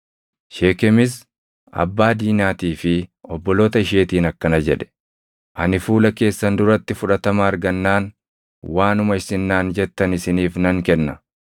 Sheekemis abbaa Diinaatii fi obboloota isheetiin akkana jedhe; “Ani fuula keessan duratti fudhatama argannaan waanuma isin naan jettan isiniif nan kenna.